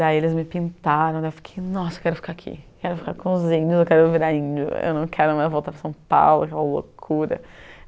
Daí eles me pintaram, eu fiquei, nossa, quero ficar aqui, quero ficar com os índios, eu quero virar índio, eu não quero mais voltar para São Paulo, aquela loucura.